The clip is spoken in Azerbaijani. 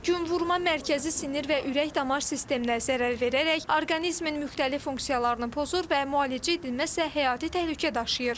Günvurma mərkəzi sinir və ürək-damar sisteminə zərər verərək orqanizmin müxtəlif funksiyalarını pozur və müalicə edilməzsə həyati təhlükə daşıyır.